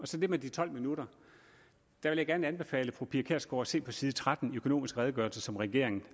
til det med de tolv minutter vil jeg gerne anbefale fru pia kjærsgaard at se på side tretten i økonomisk redegørelse som regeringen